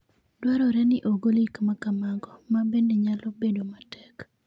Dwarore ni ogol gik ma kamago, ma bende nyalo bedo matek.